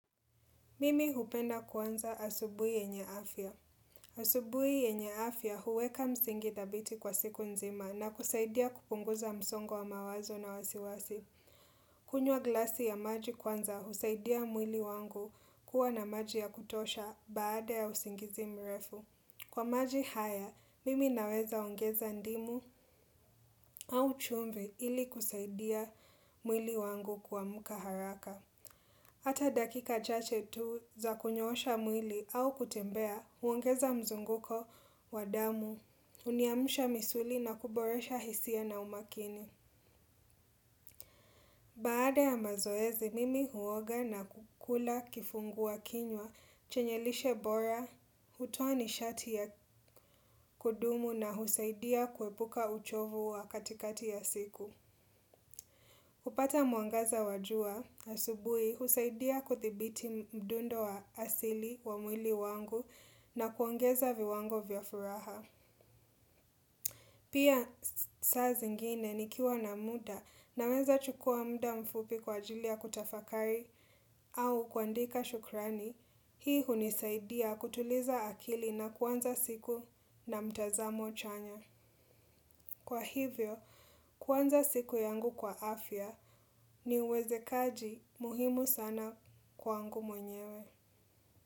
Mimi hupenda kuanza asubuhi yenye afya. Asubuhi yenye afya huweka msingi thabiti kwa siku nzima na kusaidia kupunguza msongo wa mawazo na wasiwasi. Kunywa glasi ya maji kwanza husaidia mwili wangu kuwa na maji ya kutosha baada ya usingizi mrefu. Kwa maji haya, mimi naweza ongeza ndimu au chumvi ili kusaidia mwili wangu kuamka haraka. Hata dakika chache tu za kunyosha mwili au kutembea, huongeza mzunguko, wa damu, huniamsha misuli na kuboresha hisia na umakini. Baada ya mazoezi, mimi huoga na kukula kifungua kinywa, chenye lishe bora, hutoa nishati ya kudumu na husaidia kuepuka uchovu wa katikati ya siku. Kupata muangaza wa jua, asubuhi husaidia kuthibiti mdundo wa asili wa mwili wangu na kuongeza viwango vya furaha. Pia saa zingine nikiwa na muda naweza chukua muda mfupi kwa ajili ya kutafakari au kuandika shukrani, hii hunisaidia kutuliza akili na kuanza siku na mtazamo chanya. Kwa hivyo, kuanza siku yangu kwa afya ni uwezekaji muhimu sana kwa angu mwenyewe.